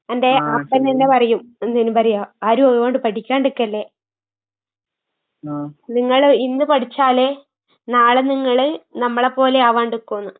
എന്റെ ഹസ്ബന്റന്നെ പറയും, എന്തേനു പറയാ ആരും അതുകൊണ്ട് പഠിക്കാണ്ടിക്കല്ലേ. നിങ്ങള് ഇന്ന് പഠിച്ചാലേ നാളെ നിങ്ങള് നമ്മളേപ്പോലെയാവാണ്ടിക്കൂന്ന്.